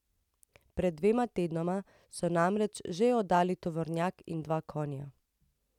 Pred dvema tednoma so namreč že oddali tovornjak in dva konja.